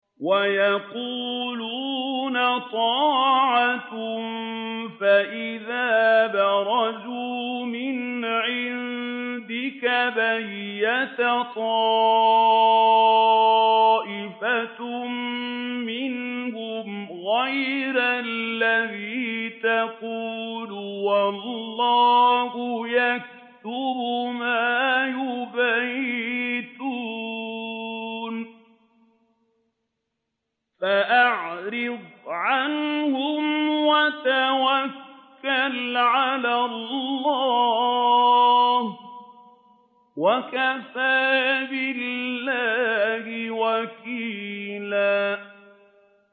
وَيَقُولُونَ طَاعَةٌ فَإِذَا بَرَزُوا مِنْ عِندِكَ بَيَّتَ طَائِفَةٌ مِّنْهُمْ غَيْرَ الَّذِي تَقُولُ ۖ وَاللَّهُ يَكْتُبُ مَا يُبَيِّتُونَ ۖ فَأَعْرِضْ عَنْهُمْ وَتَوَكَّلْ عَلَى اللَّهِ ۚ وَكَفَىٰ بِاللَّهِ وَكِيلًا